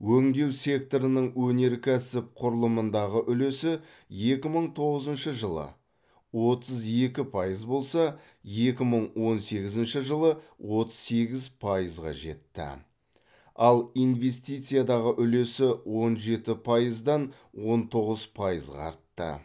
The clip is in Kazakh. өңдеу секторының өнеркәсіп құрылымындағы үлесі екі мың тоғызыншы жылы отыз екі пайыз болса екі мың он сегізінші жылы отыз сегіз пайызға жетті ал инвестициядағы үлесі он жеті пайыздан он тоғыз пайызға артты